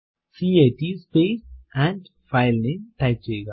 cat space and file name type ചെയ്യുക